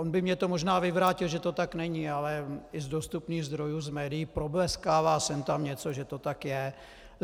On by mně to možná vyvrátil, že to tak není, ale i z dostupných zdrojů z médií probleskává sem tam něco, že to tak je.